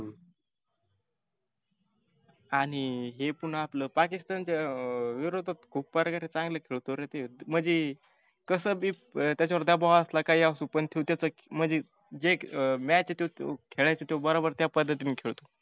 आणि हे पुन्हा आपलं पाकिस्तानच्या अं विरोधक खुप प्रकारे चांगला खेळतो रे म्हणजी. कसा बी त्याच्यावर दबाव असला काही असु पण त्यो त्याचा जे match आहे तो खेळायच तो बरोबर खेळतो.